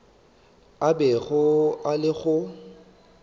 a bego a le go